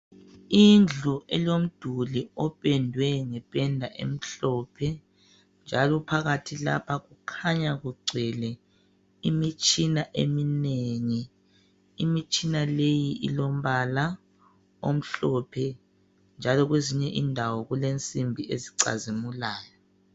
Indlu elomduli opendwe ngependa emhlophe njalo phakat lapha kukhanya kugcwele imitshina eminengi imitshina leyi ilombala omhlophe njalo kwezinye indawo kulensimbi ezicazimulayo